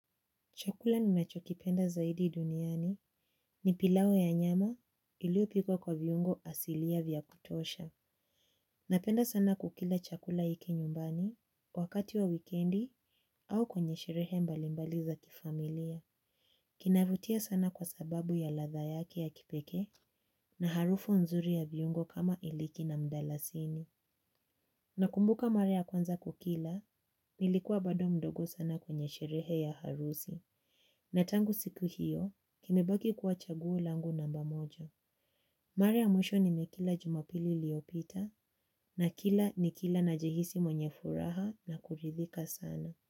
Chakula ninachokipenda zaidi duniani ni pilau ya nyama iliiyo pikwa kwa viungo asilia vya kutosha. Napenda sana kukila chakula hiki nyumbani wakati wa wikendi au kwenye sherehe mbalimbali za kifamilia. Kinavutia sana kwa sababu ya ladha yake ya kipekee na harufu nzuri ya viungo kama iliki na mdalasini. Nakumbuka mara ya kwanza kukila, nilikuwa bado mdogo sana kwenye sherehe ya harusi. Na tangu siku hiyo, kimebaki kuwa chaguo langu namba moja. Mara ya mwisho nimekila jumapili iliyopita na kila nikila najihisi mwenye furaha na kuridhika sana.